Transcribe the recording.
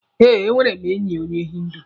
Eh, enwere m enyi onye hindu.